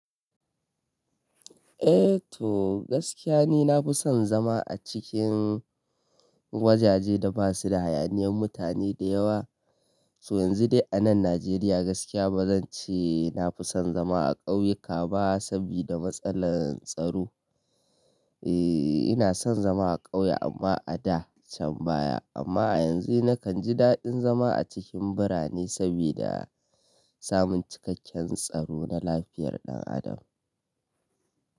Eh to gaskiya ni na fi son zama a cikin wajaje da basu da hayaniyan mutane da yawa. To yanzu dai a nan Najeriya gaskiya ba zan ce na fi son zama a ƙauyuka ba sabida matsalar tsaro. E, ina son zama a ƙauye amma a da can baya amma a yanzu nakan ji daɗin zama a cikin birane sabida samun cikakken tsaro na lafiyar ɗan adam.